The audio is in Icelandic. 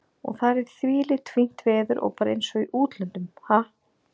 Og það er þvílíkt fínt veður og bara eins og í útlöndum, ha?